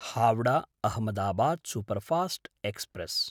Howrah Ahmedabad superfast express